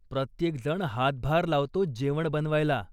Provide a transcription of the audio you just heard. प्रत्येकजण हातभार लावतो जेवण बनवायला.